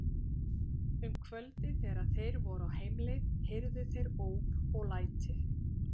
Um kvöldið þegar þeir voru á heimleið heyrðu þeir óp og læti.